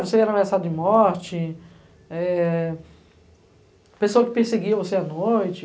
Você era ameaçado de morte, pessoa que perseguia você à noite.